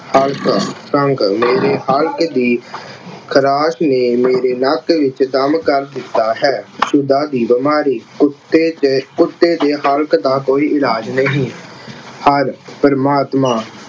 ਹਲਕ ਅੰਗ ਮੇਰੇ ਹਲਕ ਦੀ ਖਰਾਸ਼ ਨੇ ਮੇਰੇ ਨੱਕ ਵਿੱਚ ਦਮ ਕਰ ਦਿੱਤਾ ਹੈ। ਦੀ ਬਿਮਾਰੀ, ਕੁੱਤੇ ਦੇ ਕੁੱਤੇ ਦੇ ਹਲਕ ਦਾ ਕੋਈ ਇਲਾਜ ਨਹੀਂ। ਹਰਿ ਪ੍ਰਮਾਤਮਾ